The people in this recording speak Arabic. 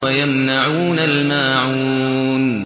وَيَمْنَعُونَ الْمَاعُونَ